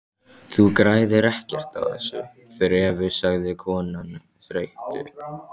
Þú græðir ekkert á þessu þrefi sagði konan þreytu